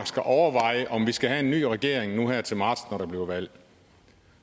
skal overveje om vi skal have en ny regering nu her til marts når der bliver valg